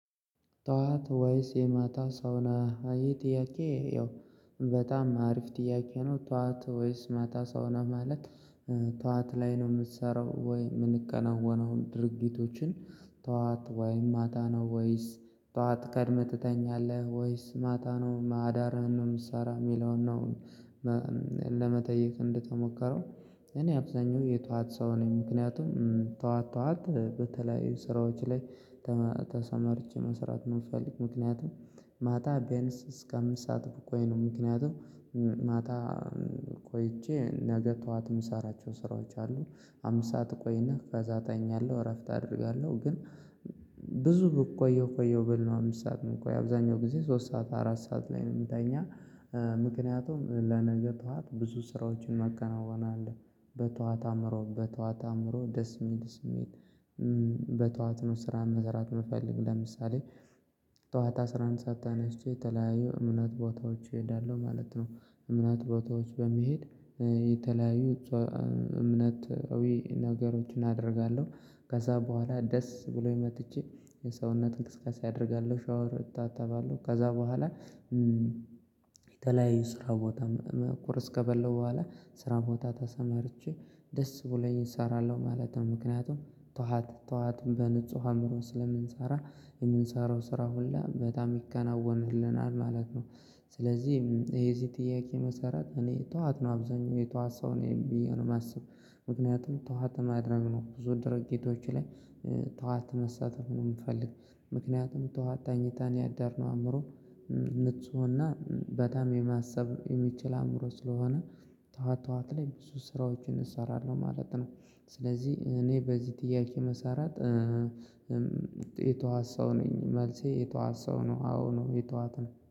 ጠዋት ወይስ የማታ ሰው ነህ? ይሄ ጥያቄ ያው በጣም አሪፍ ጥያቄ ነው ጠዋት ወይስ ማታ ሰው ነህ ማለት ጠዋት ላይ ነው ምትሰራው ወይ ሚከናወነው ድርጊቶችን ጠዋት ወይ ማታ ነው ወይስ ጠዋት ቀድመህ ትተኛለህ ወይስ ማታ ነው አዳርህን ነው ምትሰራ ሚለውን ነው ለመጠየቅ እንደተሞከረው እኔ አብዛኛው የጧት ሰው ነኝ ምክንያቱም ጧት ጧት በተለያዩ ስራዎች ላይ ተሰማርቼ መስራት ምፈልግ ምክንያቱም ማታ ቢያንስ እስከ አምስት ሰዓት ብቆይ ነው ምክንያቱም ማታ ቆይቼ ነገ ጠዋት ምሰራቸው ስራዎች አሉ ሃምስት ሰዓት እቆይና ከዛ እተኛለሁ እረፍት አደርጋለሁ ግን ብዙ ብቆየው ቆየው ብል ነው አምስት ሰዓት ምቆይ አብዛኛው ጊዜ ሶስት ሰዓት አራት ሰዓት ላይ ነው ምተኛ ምክንያቱም ለነገ ጠዋት ብዙ ስራዎችን መከናወን አለ በጠዋት አእምሮ በጠዋት አእምሮ ደስ ሚል ስሜት በጠዋት ነው ስራ መስራት ምፈልግ ለምሳሌ ጠዋት አስራ አንድ ሰዓት ተነስቼ የተለያየ እምነት ቦታዎች እሄዳለሁ ማለት ነው እምነት ቦታዎች በመሄድ የተለያዩ እምነታዊ ነገሮችን አደርጋለሁ ከዛ በኋላ ደስ ብሎኝ መጥቼ የሰውነት እንቅስቃሴ አደርጋለሁ ሻወር እታጠባለሁ ከዛ በኋላ የተለያዩ ስራ ቦታ ቁርስ ከበላው በኋላ ስራ ቦታ ተሰማርቼ ደስ ብለኝ እሰራለሁ ማለት ነው ምክንያቱም ጠዋት ጠዋትም በንጹህ አእምሮ ስለምንሰራ የምንሰራው ስራ ሁላ በጣም ይከናወንልናል ማለት ነው ስለዚህ ይሄ የዚህ ጥያቄ መሰረት እኔ ጠዋት ነው አብዛኛው የጠዋት ሰው ነኝ ብየ ነው ማስብ ምክንያቱም ጠዋት ማድረግ ነው ብዙ ድርጊቶች ላይ ጠዋት መስራት ነው ምፈልግው ምክንያቱም ጠዋት ተኝተን ነው ያደርነው አእምሮ ንፁህና በጣም የማሰብ የሚችል አእምሮ ስለሆነ ጠዋት ጠዋት ላይ ብዙ ስራዎችን እሰራለሁ ማለት ነው ስለዚህ እኔ በዚህ ጥያቄ መሰረት የጠዋት ሰው ነኝ መልሴ የጠዋት ሰው ነው አዎ ነው የጠዋት ነው